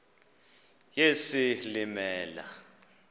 yesilimela